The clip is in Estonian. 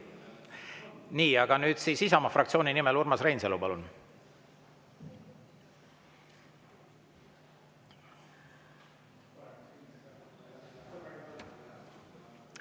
Nii, aga nüüd siis Isamaa fraktsiooni nimel Urmas Reinsalu, palun!